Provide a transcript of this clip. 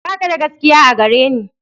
Ba ka da gaskiya a gare ni.